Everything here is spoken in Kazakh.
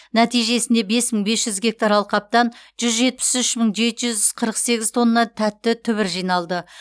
нәтижесінде бес мың бес жүз гектар алқаптан жүз жетпіс үш мың жеті жүз қырық сегіз тонна тәтті түбір жиналды